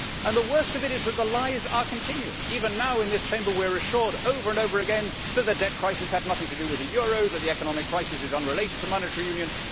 The worse of it is that the lies are continuing. Even now, in this Chamber we are assured, over and over again, that the debt crisis had nothing to do with the euro and that the economic crisis is unrelated to monetary union.